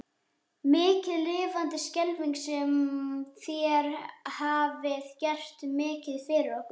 Mikið lifandis skelfing sem þér hafið gert mikið fyrir okkur.